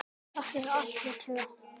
Takk fyrir allt, þið tvö.